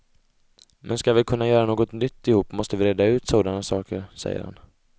Men skall vi kunna göra något nytt ihop måste vi reda ut sådana saker, säger han.